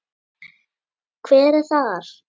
Hver er þar?